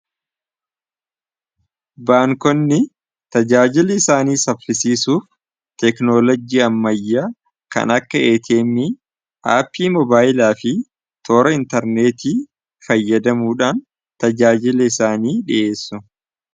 baankonni tajaajili isaanii sabfisiisuuf teeknoolojii ammayya kan akka etemi aappii moobaayilaa fi toora intarneetii fayyadamuudhaan tajaajili isaanii dhi'eessu